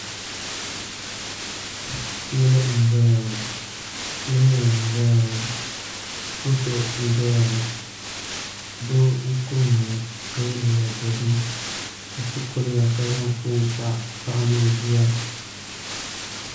Yili n ʒɛya ŋo loori n ʒɛya ŋo moto n doya ŋo doo n kuriya ŋo ka yɛ liiga dozim ka so kuriya ka zaŋ foon kpa paɣa ni o bia